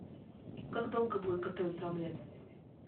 как долго будет готовиться омлет